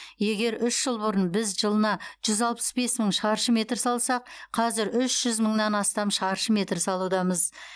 егер үш жыл бұрын біз жылына жүз алпыс бес мың шаршы метр салсақ қазір үш жүз мыңнан астам шаршы метр салудамыз